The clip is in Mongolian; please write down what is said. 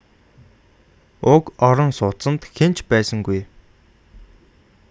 уг орон сууцанд хэн ч байсангүй